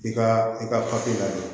I ka i ka lajɛ